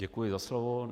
Děkuji za slovo.